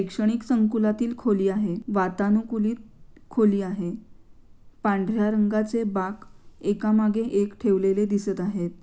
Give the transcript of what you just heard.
एक शैक्षणिक संकुलातील खोली आहे. वातानुकूलित खोली आहे. पांढर्‍या रंगाचे बाक एकामागे एक ठेवलेले दिसत आहेत.